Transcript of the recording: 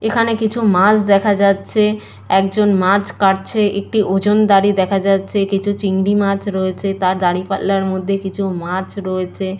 এইখানে কিছু মাছ দেখা যাচ্ছে একজন মাছ কাটছে একটি ওজনদারী দেখা যাচ্ছে। কিছু চিংড়ি মাছ রয়েছে তার দাঁড়িপাল্লার মধ্যে কিছু মাছ রয়েছে ।